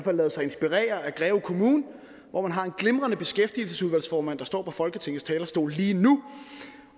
har ladet sig inspirere af greve kommune hvor man har en glimrende beskæftigelsesudvalgsformand der står på folketingets talerstol lige nu